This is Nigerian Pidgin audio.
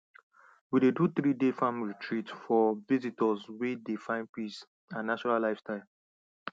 we dey do threeday farm retreat for visitors wey dey find peace and natural lifestyle